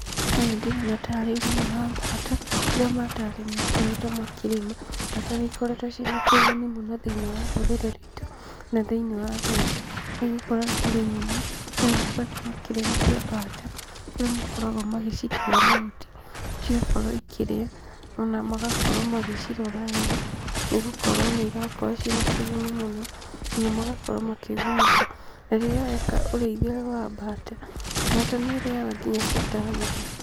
Ũyũ ndĩrona tarĩ ũrĩmi wa mbata, kũrĩa makoretwo makĩrĩma. Mbata nĩikoretwo ciĩna kĩguni mũno thĩini wa rũrĩrĩ rwitu, na thĩinĩ wa ũrĩmi; nĩgũkorwo ũrĩmi-inĩ andũ nĩmakoretwo makĩrĩmithia mbata kũrĩa makoragwo magĩcitera mahuti, cigakorwo ikĩrĩa. Ona magakorwo magĩcirora wega, nĩgũkorwo nĩirakorwo ciĩ na kĩguni mũno, ona magakorwo makĩgunĩka. Na rĩrĩa weka ũrĩithia ũyũ wa mbata, mbata nĩĩrĩaga nginya ciĩ ta nyama.